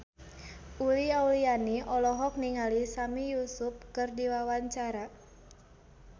Uli Auliani olohok ningali Sami Yusuf keur diwawancara